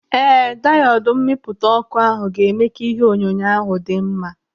Ee, diodu mmipụta ọkụ ahụ ga-eme ka ihe onyonyo ahụ dị mma.